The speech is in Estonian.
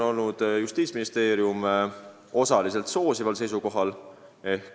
Justiitsministeerium on osaliselt soosival seisukohal.